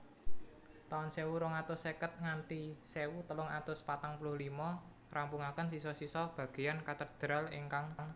taun sewu rong atus seket nganthi sewu telung atus patang puluh limo ngrampungaken sisa sisa bageyan katedral ingkang dereng rampung